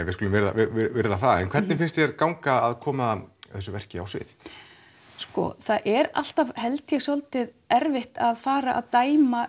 við skulum virða það en hvernig finnst þér ganga að koma þessu verki á svið sko það er alltaf held ég dálítið erfitt að fara að dæma